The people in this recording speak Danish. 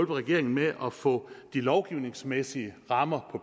regeringen med at få de lovgivningsmæssige rammer